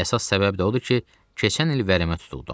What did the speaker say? Əsas səbəb də odur ki, keçən il vərəmə tutuldum.